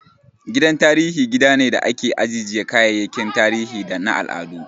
Gidan tarihi gida ne da ake ajjiye kayayyakin tarihi da na al'adu